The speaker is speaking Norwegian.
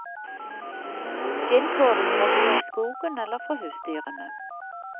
Skinn får de fra dyr i skogen eller fra husdyrene.